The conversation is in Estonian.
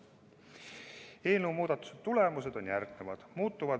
Eelnõuga pakutud muudatuste tulemused on järgmised.